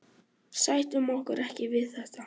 Sættum okkur ekki við þetta